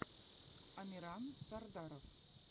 амиран сардаров